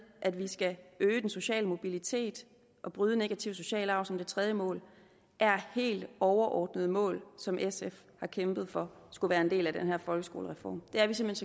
at vi skal øge den sociale mobilitet og bryde negativ social arv som det tredje mål er helt overordnede mål som sf har kæmpet for skulle være en del af den her folkeskolereform det er vi simpelt